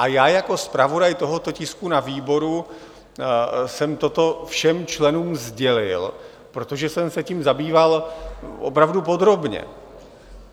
A já jako zpravodaj tohoto tisku na výboru jsem toto všem členům sdělil, protože jsem se tím zabýval opravdu podrobně.